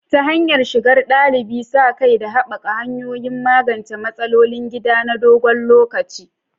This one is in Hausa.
Ta hanyar shigar ɗalibi, sa kai, da haɓaka hanyoyin magance matsalolin gida na dogon lokaci.